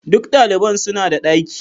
Duk daliban suna da daki.